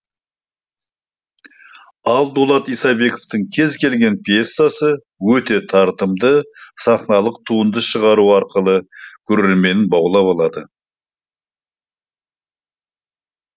ал дулат исабековтың кез келген пьесасы өте тартымды сахналық туынды шығару арқылы көрерменін баулап алады